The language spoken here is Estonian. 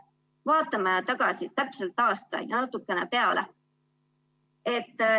Vaatame tagasi täpselt aasta ja natukene peale.